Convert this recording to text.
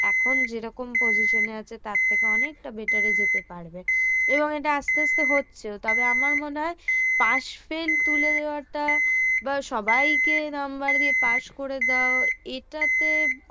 এখন যেরকম position এ আছে তার থেকে অনেকটা better এ যেতে পারবে। এবং এটা আস্তে আস্তে হচ্ছেও। তবে আমার মনে হয় pass fail তুলে দেওয়াটা বা সবাইকে নাম্বার দিয়ে পাশ করে দাও এটা